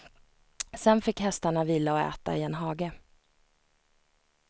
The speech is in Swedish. Sen fick hästarna vila och äta i en hage.